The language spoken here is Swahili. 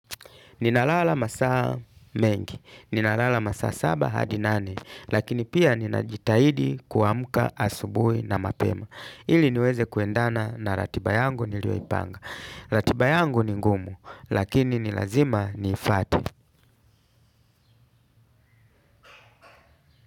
Ninalala masaa mengi, ninalala masaa saba hadi nane, lakini pia ninajitahidi kuamka asubuhi na mapema. Ili niweze kuendana na ratiba yangu nilioipanga. Ratiba yangu ni ngumu, lakini ni lazima niifate.